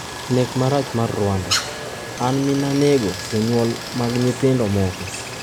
Nek marach mar Rwanda: 'An min - nanego jonyuol mag nyithindo moko'